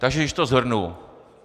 Takže když to shrnu.